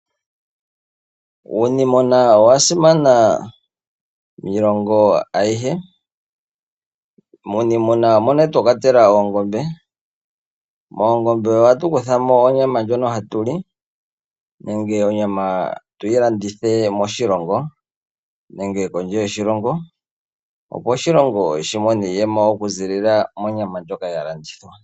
Uunimuna owa simana miilongo ayihe. Muuniimuna omo twa kwatela oongombe, mongombe ohatu kuthamo onyama ndjono hatu li, nenge onyama tuyi landithe moshilongo nenge kondje yoshilongo, opo oshilongo shi mone iiyemo oku ziilila monyama ndjoka ya landithwa.